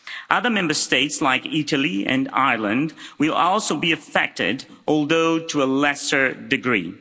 Other Member States, like Italy and Ireland, will also be affected, although to a lesser degree.